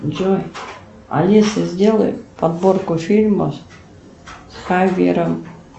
джой алиса сделай подборку фильмов с хавьером